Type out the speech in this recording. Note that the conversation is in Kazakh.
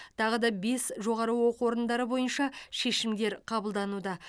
тағы да бес жоғары оқу орындары бойынша шешімдер қабылдануда